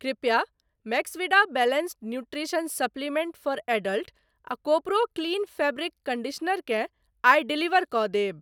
कृपया Maxvida balanced nutrition supplement for adult आ Kopro clean fabric conditioner केँ आइ डिलीवर कऽ देब।